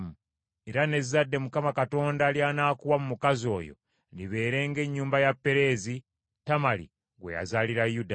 era n’ezzadde Mukama Katonda ly’anaakuwa mu mukazi oyo, libeere ng’ennyumba ya Pereezi , Tamali gwe yazaalira Yuda.”